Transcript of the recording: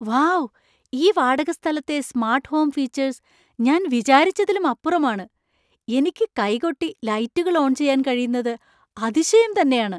Wow ഈ വാടകസ്ഥലത്തെ smart home features ഞാൻ വിചാരിച്ചതിലും അപ്പുറമാണ്. എനിക്ക് കൈകൊട്ടി ലൈറ്റുകൾ ഓൺ ചെയ്യാൻ കഴിയുന്നത് അതിശയം തന്നെയാണ് !